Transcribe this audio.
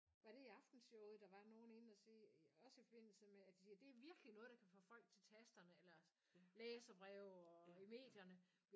Var det i Aftenshowet der var nogen inde og sige også i forbindelse med at de siger det er virkelig noget der kan få folk til tasterne eller læserbreve og i medierne